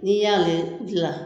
N'i y'ale dilan